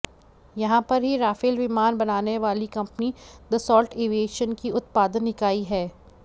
यहां पर ही राफेल विमान बनाने वाली कंपनी दसॉल्ट एविएशन की उत्पादन इकाई है